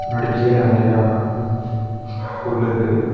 முன்னாடி கீழ நெறையா புல் இருக்கு.